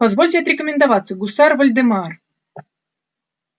позвольте отрекомендоваться гусар вольдемар